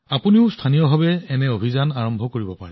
আপুনি স্থানীয় পৰ্যায়তো একে ধৰণৰ অভিযান চলাব পাৰে